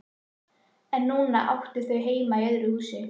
En núna áttu þau heima í öðru húsi.